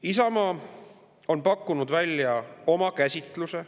Isamaa on pakkunud välja oma käsitluse.